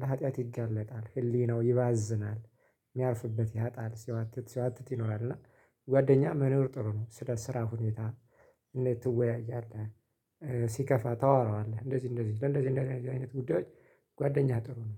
ለሀጥያት ይጋለጣል ህሊናው ይባዝናል የሚያርፍበት ያጣል ሲዋትት ሲዋትት ይኖራል። እና ጓደኛ መኖር ጥሩ ነው። ስለ ስራ ሁኔታ እንዴት ትወያያለህ? ሲከፋ ታወራዋለህ እንደዚህ እንደዚህ ለእንደዚህ አይነት ጉዳዮች ጓደኛ ጥሩ ነው